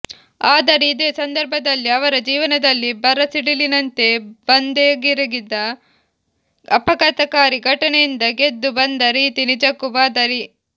ಆದರೆ ಇದೇ ಸಂದರ್ಭದಲ್ಲಿ ಅವರ ಜೀವನದಲ್ಲಿ ಬರಸಿಡಿಲಿನಂತೆ ಬಂದೆರೆಗಿದ ಆಘಾತಕಾರಿ ಘಟನೆಯಿಂದ ಗೆದ್ದು ಬಂದ ರೀತಿ ನಿಜಕ್ಕೂ ಮಾದರಿ